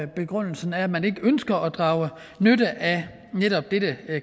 begrundelsen er at man ikke ønsker at drage nytte af netop dette